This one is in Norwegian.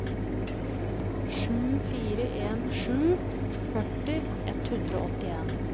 sju fire en sju førti ett hundre og åttien